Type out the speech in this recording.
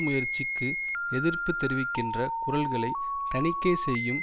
முயற்சிக்கு எதிர்ப்பு தெரிவிக்கின்ற குரல்களை தணிக்கை செய்யும்